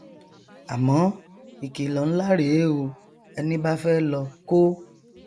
àmọ ìkìlọ nlá rèé o ẹni bá fẹ lọ kó